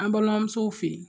An balimamusow fɛ